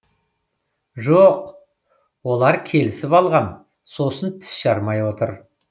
жоқ олар келісіп алған сосын тіс жармай отыр